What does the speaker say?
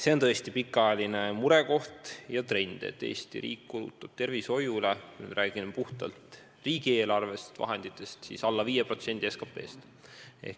See on tõesti ammune murekoht ja trend, et Eesti riik kulutab tervishoiule, kui me räägime puhtalt riigieelarve vahenditest, alla 5% SKP-st.